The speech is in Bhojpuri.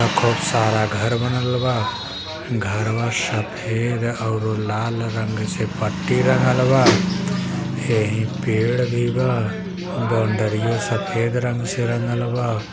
बहुत सारा घर बनल बा घरवा सफ़ेद ऑरू लाल रंग से पट्टी लगलवा एहिं पेड़ भी बा बाऊंदरिया सफेद रंग से रंगल बा।